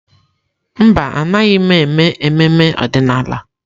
Mba, Anaghị m eme ememe ọdịnala.